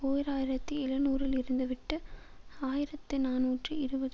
ஓர் ஆயிரத்தி எழுநூறுல் இருந்து விட்டு ஆயிரத்தி நாநூற்று இருபது